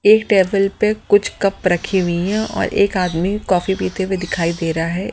एक टेबल पर कुछ कप रखी हुई हैं और एक आदमी कॉफी पीते हुए दिखाई दे रहा है।